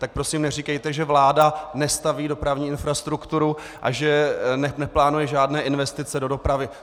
Tak prosím neříkejte, že vláda nestaví dopravní infrastrukturu a že neplánuje žádné investice do dopravy.